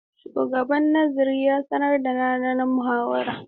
Shugaban Nazarin ya sanar da ranar muhawarar.